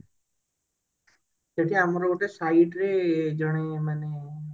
ଏଠି ଆମର ଗୋଟେ site ରେ ଜଣେ ମାନେ